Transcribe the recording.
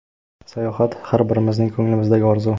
Sayohat – har birimizning ko‘nglimizdagi orzu.